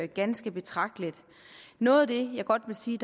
ganske betragteligt noget af det jeg godt vil sige